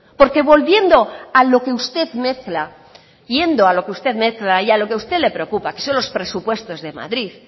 porque volviendo a lo que usted mezcla yendo a lo que usted mezcla y a lo que usted le preocupa que son los presupuestos de madrid